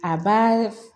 A b'a